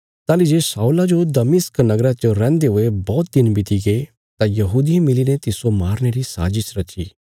ताहली जे शाऊला जो दमिश्क नगरा च रैहन्दे हुये बौहत दिन बितिगे तां यहूदियें मिलीने तिस्सो मारने री शाजिश रची